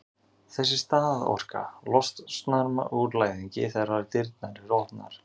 þessi staðorka losnar úr læðingi þegar dyrnar eru opnaðar